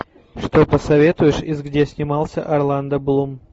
что посоветуешь из где снимался орландо блум